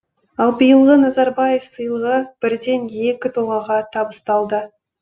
ал биылғы назарбаев сыйлығы бірден екі тұлғаға табысталды